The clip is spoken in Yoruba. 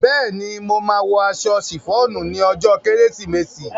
Bẹ́ẹ̀ ni, mo máa wọ aṣọ sìfọ́ọ̀nù ní ọjọ́ kérésìmesì.